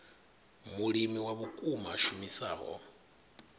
mulimi wa vhukuma a shumisaho